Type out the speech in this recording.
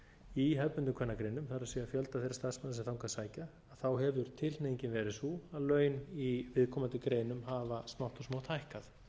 í hefðbundnum kvennagreinum það er fjölda þeirra starfsmanna sem þangað sækja hefur tilhneigingin verið sú að laun í viðkomandi greinum hafa smátt og